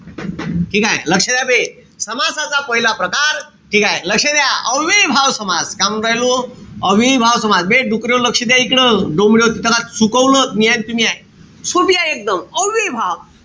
ठीकेय? लक्ष द्या बे. समासाचा पहिला प्रकार. ठीकेय? लक्ष द्या. अव्ययीभाव समास. काय म्हणून राहिलो? अव्ययीभाव समास. बे डुकऱ्याहो लक्ष द्या इकडं. डोमड्याहो तिथं का चुकवलं त मी हाये अन तुम्ही हाये. सोपी आहे एकदम. अव्ययीभाव.